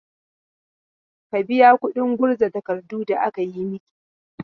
Ka biya kuɗin gurza takardun da aka yi maki!